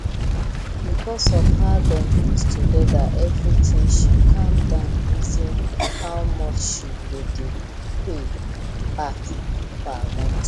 because of how them put together everything she calm down reason how much she go dey pay back per month